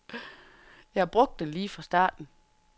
Jeg har brugt den lige fra starten.